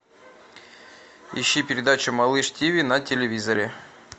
ищи передачу малыш тв на телевизоре